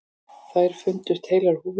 Þær fundust heilar á húfi.